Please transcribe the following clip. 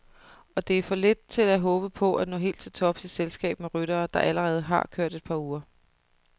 Og det er for lidt til at håbe på at nå helt til tops i selskab med ryttere, der allerede har kørt et par uger.